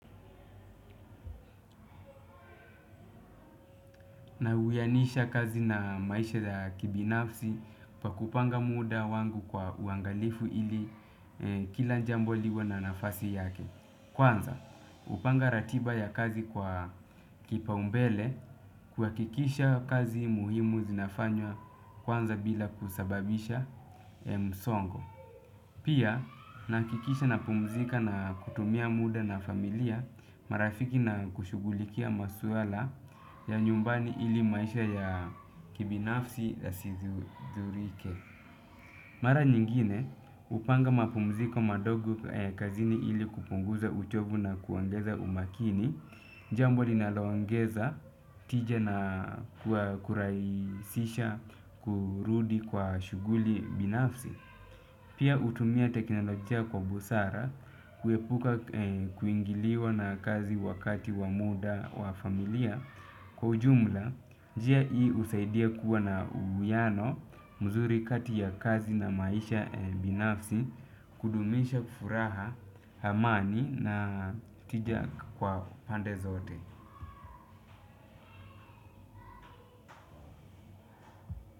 Na uwianisha kazi na maisha ya kibinafsi pa kupanga muda wangu kwa uangalifu ili kila njambo liwe na nafasi yake. Kwanza, hupanga ratiba ya kazi kwa kipaumbele kuhakikisha kazi muhimu zinafanywa kwanza bila kusababisha msongo. Pia nahakikisha napumzika na kutumia muda na familia, marafiki na kushugulikia maswala ya nyumbani ili maisha ya kibinafsi yasithurike. Mara nyingine hupanga mapumziko madogo kazini ili kupunguza uchovu na kuongeza umakini, jambo linaloongeza tija na kurahisisha kurudi kwa shughuli binafsi. Pia hutumia teknolojia kwa busara kuepuka kuingiliwa na kazi wakati wa muda wa familia. Kwa ujumla, njia hii husaidia kuwa na uwiano mzuri kati ya kazi na maisha binafsi kudumisha furaha, amani na tija kwa pande zote.